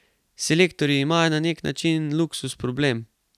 Selektorji imajo na nek način luksuz problem.